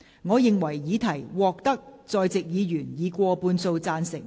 我認為議題獲得在席議員以過半數贊成。